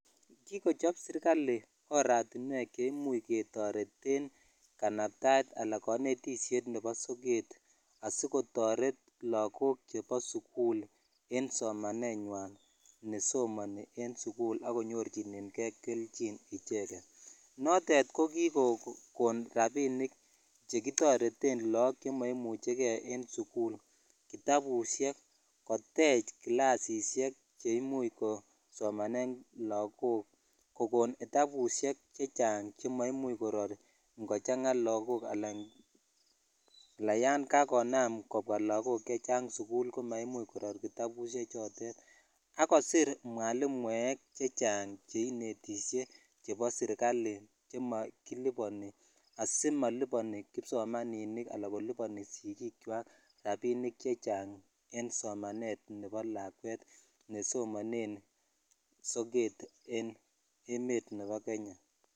Kikochop serkali oratinwek cheimuch ketoreten kanabtaet anan anetishet nebo soket asikotoret lagok chebo sukul en somanenywan nesomani en sukul akonyorchineke keljin icheket notet kokikokon rabinik chekitoreten logok chemaimuchegee en sukul kitabushek kotech kilasishek cheimuch kosomanen lagok kokon kitabushek chechaang chemaimuch Koror ngochanga lagok um Yan kakonam kobwa lagok chechang sukul komaimuch Koror kitabushek chotet agosir mwalimuek chechang cheinetishe chebo serikali chemakiluboni asimaluboni kipsomaninik anan kolipani sigikchwak rabinik chechang en somanet nebo lakwet nesomanen soket en emet nebo Kenya.